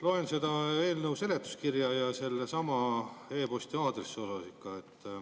Loen seda eelnõu seletuskirja, ja sellesama e-posti aadressi kohta ikka.